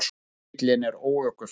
Annar bíllinn er óökufær.